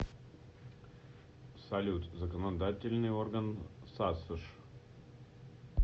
салют законодательный орган сасш